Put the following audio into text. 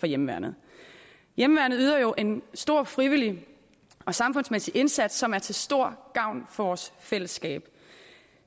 for hjemmeværnet hjemmeværnet yder jo en stor frivillig og samfundsmæssig indsats som er til stor gavn for vores fællesskab